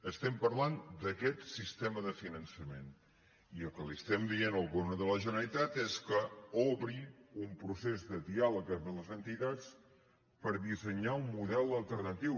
estem parlant d’aquest sistema de finança·ment i el que estem dient al govern de la generalitat és que obri un procés de diàleg amb les entitats per dissenyar un model alternatiu